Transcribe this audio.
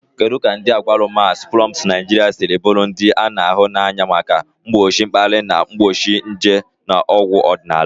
Kedu ka agwalumas, plums Naijiria siri bụrụ ndị a na-ahụ n'anya maka mgbochi mkpali na mgbochi nje na ọgwụ ọdịnala?.